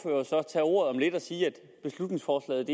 tage ordet om lidt og sige at beslutningsforslaget